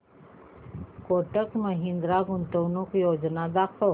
कोटक महिंद्रा गुंतवणूक योजना दाखव